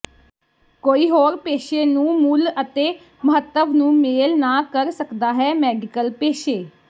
ਕੋਈ ਹੋਰ ਪੇਸ਼ੇ ਨੂੰ ਮੁੱਲ ਅਤੇ ਮਹੱਤਵ ਨੂੰ ਮੇਲ ਨਾ ਕਰ ਸਕਦਾ ਹੈ ਮੈਡੀਕਲ ਪੇਸ਼ੇ